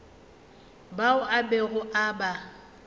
bao a bego a ba